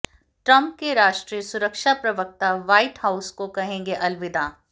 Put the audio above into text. Trump के राष्ट्रीय सुरक्षा प्रवक्ता व्हाइट हाउस को कहेंगे अलविदा